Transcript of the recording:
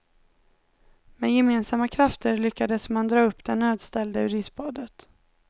Med gemensamma krafter lyckades man dra upp den nödställde ur isbadet.